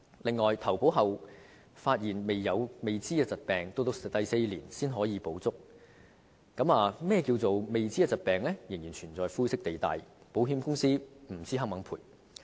此外，在投保後發現未知的疾病，要在第四年才可獲全額賠償，而何謂"未知疾病"仍然存在灰色地帶，不知道保險公司是否願意賠償。